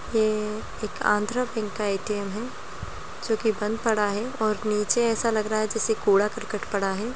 ये एक आंध्रा बैंक का ए.टी.एम. है जो कि बंद पड़ा है और नीचे ऐसा लग रहा है जैसे कूड़ा करकट पड़ा है।